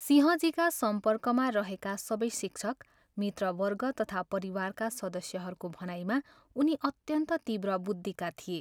सिंहजीका सम्पर्कमा रहेका सबै शिक्षक, मित्रवर्ग तथा परिवारका सदस्यहरूको भनाइमा उनी अत्यन्त तीव्र बुद्धिका थिए।